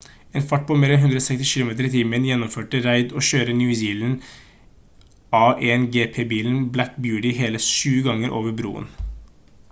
i en fart på mer enn 160 kilometer i timen gjennomførte reid å kjøre new zealands a1gp-bilen black beauty hele 7 ganger over broen